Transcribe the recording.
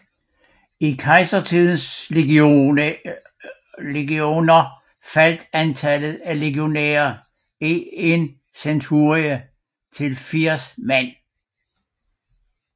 I Kejsertidens legioner faldt antallet af legionærer i en centurie til 80 mand